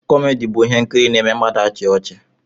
Kọmedi bụ ihe nkiri n'eme mmadụ achia ọchị